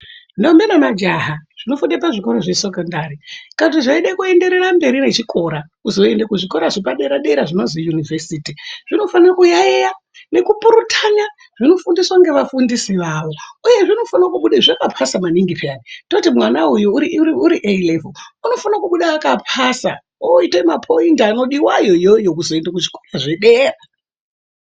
Ndombi nemajaha zvinofunda pazvikora zvesekondani kana zveida kuenderera mberi nechikora kuzoenda kuzvikora zvepadera dera zvinozi univhesiti. Zvinofana kuyaiya nekupurutana zvinofundiswa ngevafundisi vavo. Uye zvinofana kubuda zvakapasa maningi peya toti mwana uyu uri A levhewo unofana kubuda akapasa oita mapoindi anodiwa wo awawo kuzoenda kuzvikora zvedera